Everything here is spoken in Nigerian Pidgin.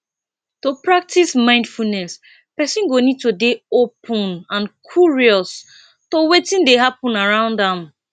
to practice mindfulness person go need to dey open and curious to wetin dey happen around am